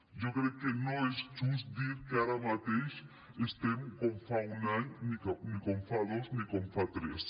jo crec que no és just dir que ara mateix estem com fa un any ni com fa dos ni com fa tres